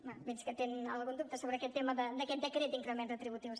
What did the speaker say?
bé veig que té algun dubte sobre aquest tema d’aquest decret d’increments retributius